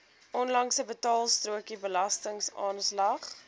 onlangse betaalstrokie belastingaanslag